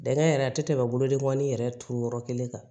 Dɛngɛn yɛrɛ a tɛ tɛmɛ bolodengɔnin yɛrɛ turu yɔrɔ kelen kan